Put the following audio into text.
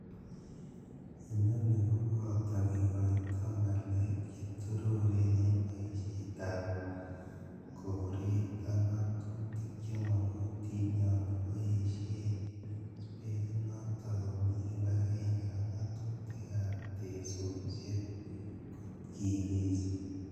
Inoni koboto kikoito ngalek che toreri en boisietab koret ak ng'atutik chemokotin yon kiboisheb spesinoton komi kibagenge ak ngatutikab teksosiek kot kiges.